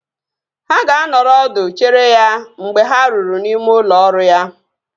Ha ga-anọrọ ọdụ chere ya mgbe ha ruru n'ime ụlọ ọrụ ya